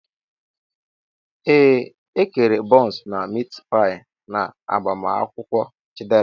Ee, E kere bọns na mit pai n'agbamakwụkwọ Chidera.